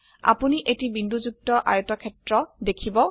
আপোনি এটি বিন্দুযুক্ত আয়তক্ষেত্র দেখিব